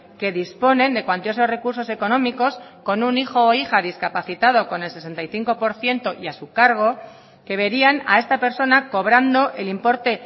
que disponen de cuantiosos recursos económicos con un hijo o hija discapacitado con el sesenta y cinco por ciento y a su cargo que verían a esta persona cobrando el importe